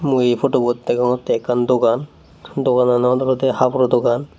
mui pudubot degongtte ekkan dogan doganan ot olodey haboro dogan.